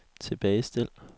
tilbagestil